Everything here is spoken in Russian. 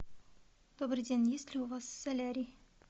добрый день есть ли у вас солярий